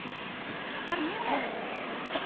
Bara mjög vel.